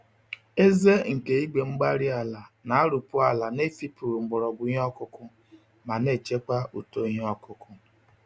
Eze nke igwe-mgbárí-ala na-arụpu ala n'efipụghị mgbọrọgwụ ìhè okụkụ, ma nechekwa uto ìhè okụkụ